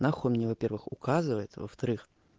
нахуй мне во-первых указывает а во-вторых